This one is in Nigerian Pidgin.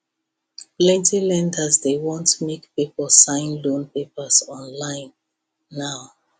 plenty lenders dey want make people sign loan papers online now